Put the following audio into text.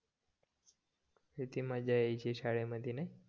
किती मज्जा यायची शाळेमध्ये नाय